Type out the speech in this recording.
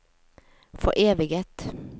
foreviget